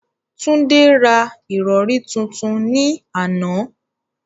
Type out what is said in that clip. Tunde ra ìrọ̀rí tuntun ní àná.